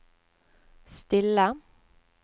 stille